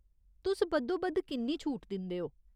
तुस बद्धोबद्ध किन्नी छूट दिंदे ओ ?